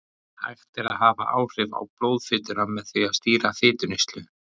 Hægt er að hafa áhrif á blóðfituna með því að stýra fituneyslu.